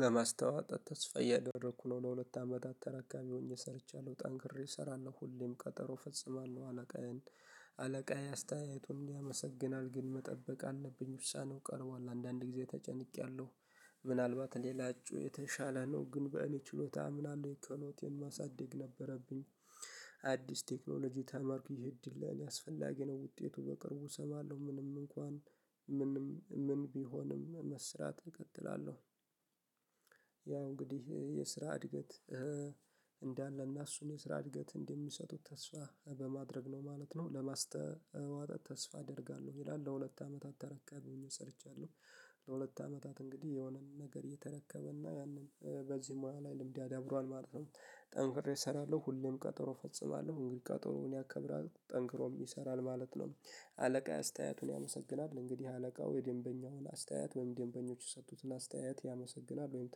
ለማስተዋት ተስፋ እያደረኩ ነው ለሁለት አመታት ተረካቢ ሆኜ ሰርቻለሁ ጠንክሬ እሰራለሁ ሁሌም ቀጠሮ ፈጽማለሁ አለቃዬን አለቃዬ አስተያየቱን ያመሰግናል ግን መጠበቅ አለብኝ ውሳኔው ቀርቧል አንዳንድ ጊዜ ተጨንቄያለሁ። ምናልባት ሌላችሁ የተሻለ ነው ግን በእኔ ችሎታ አምናለሁ ችሎታዬን ማሳደግ ነበረብኝ። አዲስ ቴክኖሎጂ ተመርኩኝ እድል ለኔ አስፈላጊ ነው ውጤቱ በቅርቡ እሰማለሁ ምንም እንኳን ምንም ምን ቢሆንም መስራት እቀጥላለሁ። ያ እንግዲህ የስራ እድገት እንዳለና እሱን የስራ እድገት እንደሚሰጡት ተስፋ በማድረግ ነው ማለት ነው። ለማስተዋጠጥ ተስፋ አደርጋለሁ ይላል ለሁለት አመታት ተረካብኝ ሰርቻለሁ። ለሁለት አመታት እንግዲህ የሆነን ነገር የተረከበና ያንን በዚህ ሙያ ላይ ልምድ ያዳብሯል ማለት ነው። ጠንክሬ እሰራለሁ ሁሌም ቀጠሮ ፈጽማለሁ እንግዲህ ቀጠሮ እኔ አከብራለሁ ጠንክሮም ይሰራል ማለት ነው። አለቃ አስተያየቱን ያመሰግናል እንግዲህ አለቃው የደንበኛውን አስተያየት ወይም ደንበኞች የሰጡትን አስተያየት ያመሰግናል ወይም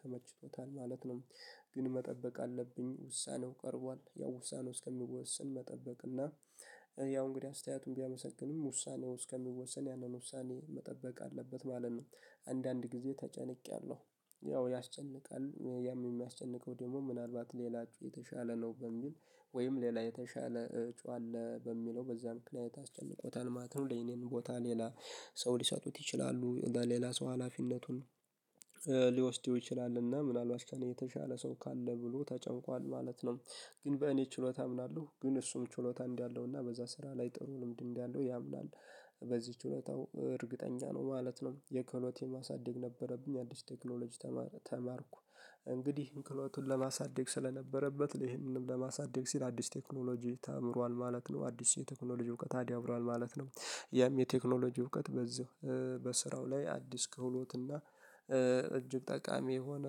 ተመችቶታል ማለት ነው። ግን መጠበቅ አለብኝ ውሳኔው ቀርቧል ያው ውሳኔው እስከሚወስን መጠበቅ እና ያው እንግዲህ አስተያየቱን ቢያመሰግንም ውሳኔው እስከሚወሰን ያንን ውሳኔ መጠበቅ አለበት ማለት ነው። አንዳንድ ጊዜ ተጨንቄያለሁ። ያው ያስጨንቃል ያም የሚያስጨንቀው ደግሞ ምናልባት ሌላችሁ የተሻለ ነው በሚል ወይም ሌላ የተሻለ ጮህ አለ በሚለው በዛ ምክንያት አስጨንቆታል ማለት ነው። ለኔን ቦታ ሌላ ሰው ሊሰጡት ይችላሉ ለሌላ ሰው ሀላፊነቱን። ሊወስደው ይችላልና ምናልባት እስከኔ የተሻለ ሰው ካለ ብሎ ተጨንቋል ማለት ነው። ግን በእኔ ችሎታ አምናለሁ ግን እሱም ችሎታ እንዲህ አለውና በዛ ስራ ላይ ጥሩ ልምድ እንዲህ አለው ያምናል። በዚህ እውነታው እርግጠኛ ነው ማለት ነው። የክትሎቲ ማሳደግ ነበረብኝ አዲስ ቴክኖሎጂ ተማርኩ። እንግዲህ እንቅልፉን ለማሳደግ ስለነበረበት ይሄንንም ለማሳደግ ሲል አዲስ ቴክኖሎጂ ተአምሯል ማለት ነው አዲስ የቴክኖሎጂ እውቀት ታዲብሯል ማለት ነው። ያም የቴክኖሎጂ እውቀት በዚህ በስራው ላይ አዲስ ክህሎት እና። እጅግ ጠቃሚ የሆነ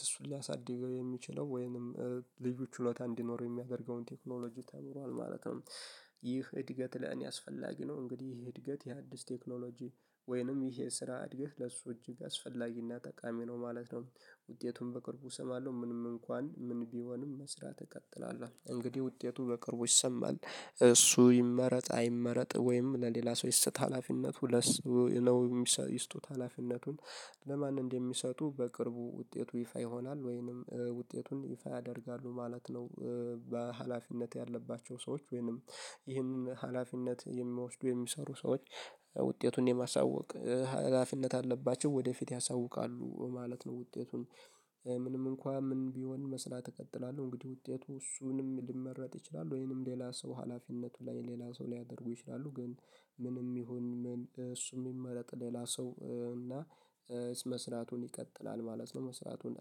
ስሱን ሊያሳድገው የሚችለው ወይንም ልዩ ችሎታ እንዲኖረው የሚያደርገውን ቴክኖሎጂ ተምሯል ማለት ነው። ይህ እድገት ለእኔ አስፈላጊ ነው እንግዲህ ይሄ እድገት የአዲስ ቴክኖሎጂ ወይንም ይሄ ስራ አድገት ለሱ እጅግ አስፈላጊና ጠቃሚ ነው ማለት ነው። ውጤቱን በቅርቡ እሰማለሁ ምንም እንኳን ምን ቢሆንም መስራት እቀጥላለሁ። እንግዲህ ውጤቱ በቅርቡ ይሰማል እሱ ይመረጥ አይመረጥ ወይም ለሌላ ሰው ይስጥ ሀላፊነቱ ለሰው ይስጡት ሀላፊነቱን። ለማን እንደሚሰጡ በቅርቡ ውጤቱ ይፋ ይሆናል ወይንም ውጤቱን ይፋ ያደርጋሉ ማለት ነው። በሃላፊነት ያለባቸው ሰዎች ወይንም ይህንን ሀላፊነት የሚያወስዱ የሚሰሩ ሰዎች። ውጤቱን የማሳወቅ ሀላፊነት አለባቸው ወደፊት ያሳውቃሉ ማለት ነው። ውጤቱን። ምንም እንኳን ምን ቢሆን መስራት እቀጥላለሁ። እቀጥላለሁ እንግዲህ ውጤቱ እሱንም ሊመረጥ ይችላል ወይንም ሌላ ሰው ሀላፊነቱ ላይ ሌላ ሰው ሊያደርጉ ይችላሉ ግን ምንም ይሁን ምን እሱም የሚመረጥ ሌላ ሰው እና መስራቱን ይቀጥላል ማለት ነው። መስራቱን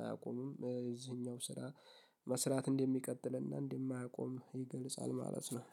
አያቆምም እዚህኛው ስራ መስራት እንደሚቀጥልና እንደማያቆም ይገልጻል ማለት ነው።